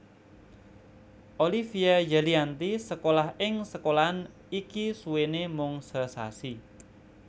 Olivia Zalianty sekolah ing sekolahan iki suwené mung sesasi